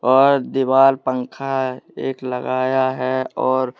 और दीवाल पंखा एक लगाया है और--